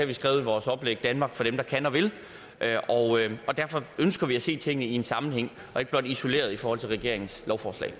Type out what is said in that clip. vi skrevet i vores oplæg danmark for dem der kan og vil derfor ønsker vi at se tingene i en sammenhæng og ikke blot isoleret i forhold til regeringens lovforslag